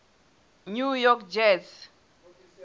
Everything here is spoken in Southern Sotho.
new york jets